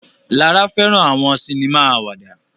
Lara fẹràn àwọn sinima àwàdà